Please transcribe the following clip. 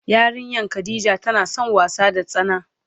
Yarinyan Khadijah tana son wasa da tsana.